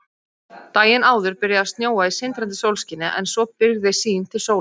Daginn áður byrjaði að snjóa í sindrandi sólskini en svo byrgði sýn til sólar.